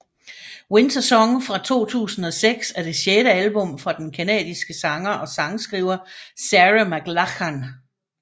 Wintersong fra 2006 er det sjette album fra den canadiske sanger og sangskriver Sarah McLachlan